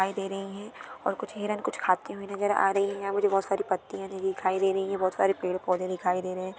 दिखाई दे रही है और कुछ हिरण कुछ खाती हुई नज़र आ रही है मुझे बहुत सारी पत्तिया दिखाई दे रही है बहुत सारे पेड़-पौधे दिखाई दे रहे है।